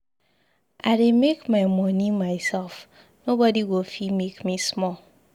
I dey make my money myself, nobody go fit make me small.